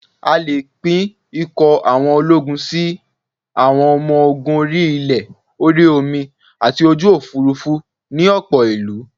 A lè pín ikọ̀ àwọn ológun sí: Àwọn ọmọ ogun orí-ilẹ̀, orí omi àti ojú òfuurufú ni ọ̀pọ̀ ìlú